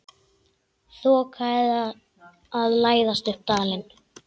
Þoka að læðast upp dalinn.